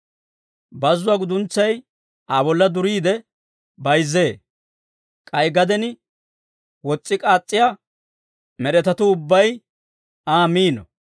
Bazzuwaa guduntsay Aa bolla duriide bayzzee; k'ay gaden wos's'i k'aas's'iyaa med'etatuu ubbay Aa miino.